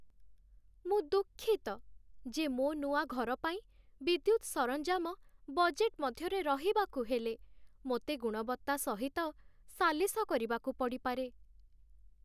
ମୁଁ ଦୁଃଖିତ ଯେ ମୋ ନୂଆ ଘର ପାଇଁ ବିଦ୍ୟୁତ ସରଞ୍ଜାମ ବଜେଟ୍ ମଧ୍ୟରେ ରହିବାକୁ ହେଲେ, ମୋତେ ଗୁଣବତ୍ତା ସହିତ ସାଲିସ କରିବାକୁ ପଡ଼ିପାରେ।